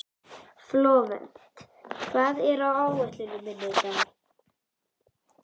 Flóvent, hvað er á áætluninni minni í dag?